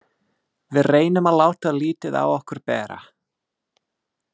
Við reynum að láta lítið á okkur bera.